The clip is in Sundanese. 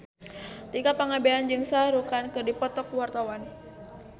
Tika Pangabean jeung Shah Rukh Khan keur dipoto ku wartawan